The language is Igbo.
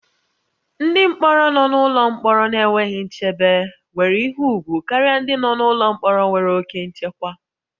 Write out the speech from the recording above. Ndị mkpọrọ nọ n'ụlọ mkpọrọ na-enweghị nchebe nwere ihe ùgwù karịa ndị nọ n'ụlọ mkpọrọ nwere oke nchekwa